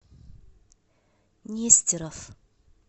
нестеров